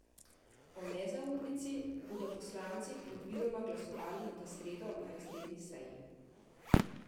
O nezaupnici bodo poslanci predvidoma glasovali v sredo na izredni seji.